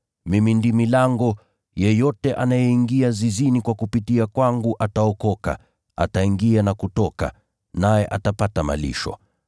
Mimi ndimi lango, yeyote anayeingia zizini kwa kupitia kwangu ataokoka, ataingia na kutoka, naye atapata malisho.